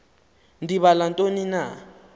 ndibala ntoni na